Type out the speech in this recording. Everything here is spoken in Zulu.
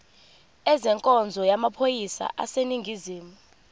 ezenkonzo yamaphoyisa aseningizimu